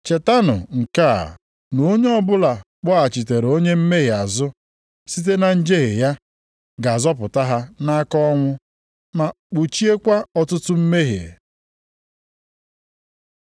chetanụ nke a na onye ọbụla kpọghachitere onye mmehie azụ site na njehie ya, ga-azọpụta ha nʼaka ọnwụ ma kpuchiekwa ọtụtụ mmehie.